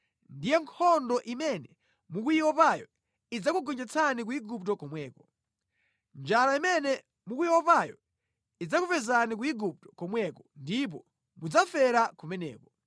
ndiye nkhondo imene mukuyiopayo idzakugonjetsani ku Igupto komweko. Njala imene mukuyiopayo idzakupezani ku Igupto komweko ndipo mudzafera kumeneko.